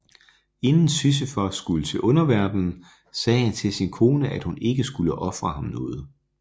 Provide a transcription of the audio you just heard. Inden Sisyfos skulle til underverdenen sagde han til sin kone at hun ikke skulle ofre ham noget